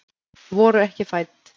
Voru ekki fædd